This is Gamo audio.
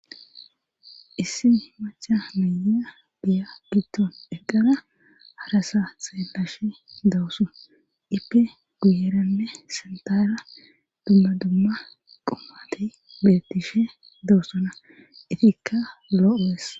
issi maca mayiya giya giddon eqqana harasa seelashe dawusu ipe guyerane sentara dumma dumma qomati beetishe dawussona itikka lo7es